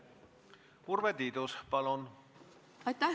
Urve Tiidus, palun!